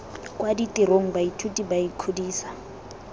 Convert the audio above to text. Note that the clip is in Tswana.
kwa ditirong baithuti ba ikgodisa